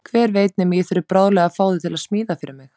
Hver veit nema ég þurfi bráðlega að fá þig til að smíða fyrir mig.